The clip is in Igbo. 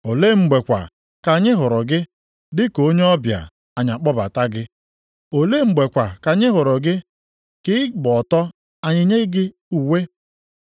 Olee mgbe kwa ka anyị hụrụ gị dị ka onye ọbịa anyị akpọbata gị? Olee mgbe kwa ka anyị hụrụ gị ka ị gba ọtọ anyị enye gị uwe?